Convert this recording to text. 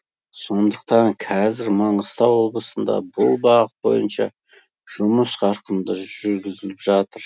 сондықтан қазір маңғыстау облысында бұл бағыт бойынша жұмыс қарқынды жүргізіліп жатыр